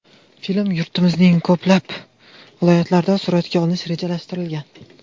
Film yurtimizning ko‘plab viloyatlarida suratga olinishi rejalashtirilgan.